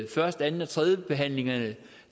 første anden og tredjebehandlingen